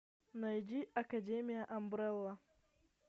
найди академия амбрелла